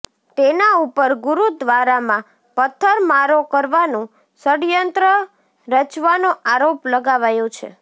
તેના ઉપર ગુરુદ્વારામાં પથ્થરમારો કરવાનું ષડયંત્ર રચવાનો આરોપ લગાવાયો છે